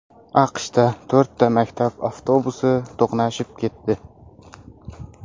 AQShda to‘rtta maktab avtobusi to‘qnashib ketdi.